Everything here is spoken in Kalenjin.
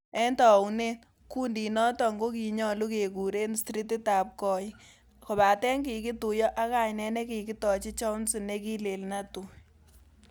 En tounet, kundinoton kokinyolu kekuren strititab goik, kobaten kikituyo ak kainet nekikitochi Chauncey nekilen Netui.